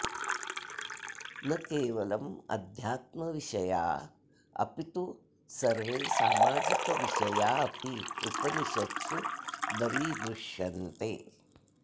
न केवलमध्यात्म्यविषया अपितु सर्वे सामाजिकविषया अपि उपनिषत्सु दरीदृश्यन्ते